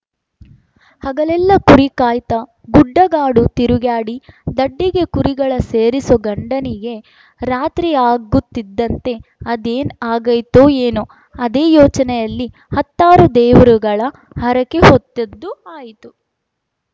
ಹಗಲೆಲ್ಲ ಕುರಿಕಾಯ್ತಾ ಗುಡ್ಡಗಾಡು ತಿರುಗ್ಯಾಡಿ ದಡ್ಡಿಗೆ ಕುರಿಗಳ ಸೇರಿಸೋ ಗಂಡನಿಗೆ ರಾತ್ರಿಯಾಗುತ್ತಿದ್ದಂತೆ ಅದೇನ ಆಗೈತೋ ಏನೋ ಅದೇ ಯೋಚನೆಯಲ್ಲಿ ಹತ್ತಾರು ದೇವ್ರುಗಳ ಹರಕೆ ಹೊತ್ತದ್ದು ಆಯಿತು